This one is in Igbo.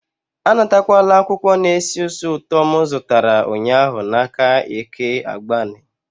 Anatakwala akwụkwọ na-esi ísì ụtọ m zụtara ụnyahụ n'aka Eke Agbani.